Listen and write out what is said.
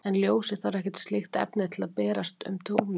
En ljósið þarf ekkert slíkt efni til að berast um rúmið.